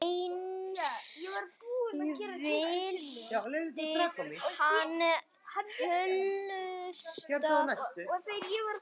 Eins vildi hann hlusta.